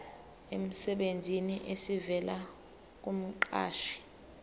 emsebenzini esivela kumqashi